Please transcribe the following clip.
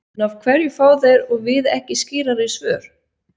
En af hverju fá þeir og við ekki skýrari svör?